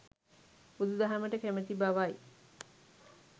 බුදුදහමට කැමැති බවයි.